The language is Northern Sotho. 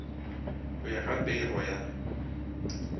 go ya ka pego ya